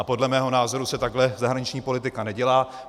A podle mého názoru se takhle zahraniční politika nedělá.